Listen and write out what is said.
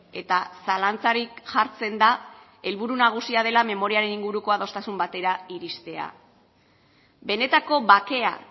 eta zalantzarik jartzen da helburu nagusia dela memoriaren inguruko adostasun batera iristea benetako bakea